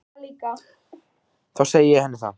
Þá segi ég henni það.